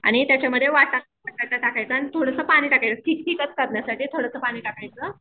आणि त्याच्यामध्ये वाटाणा टाकायचा आणि थोडंसं पाणी टाकायचं करण्यासाठी थोडंसं पाणी टाकायचं.